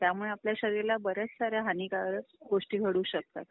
त्यामुळे आपल्या शरीराला बऱ्याच साऱ्या हानिकारक गोष्टी घडू शकतात.